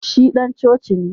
Shi dan coci ne